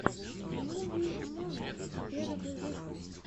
муви момент первый выпуск